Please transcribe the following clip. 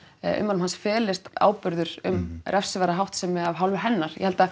ummælum hans felist áburður um refsiverða háttsemi af hálfu hennar ég held að